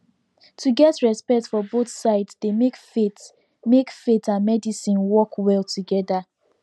to get respect for both sides dey make faith make faith and medicine work well together